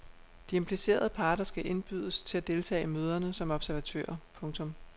De implicerede parter skal indbydes til at deltage i møderne som observatører. punktum